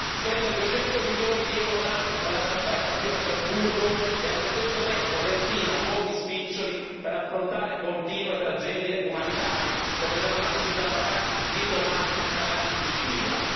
Spende duecento milioni di euro l'anno per la trasferta qui a Strasburgo e allo stesso tempo destina pochi spiccioli per affrontare continue tragedie umanitarie, come i drammatici salvataggi di vite umane nel Canale di Sicilia.